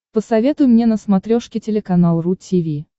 посоветуй мне на смотрешке телеканал ру ти ви